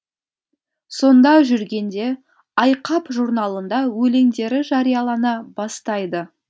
сонда жүргенде айқап журналында өлеңдері жариялана бастайды